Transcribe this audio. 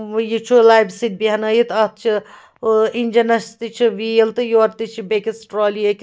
.وٕیہِ چُھ لبہِ سۭتۍبہنٲیتھ اَتھ چھ ٲاِنجنس تہِ چھ ویٖل تہٕ یورٕتہِچھ بیٚکِس ٹرالی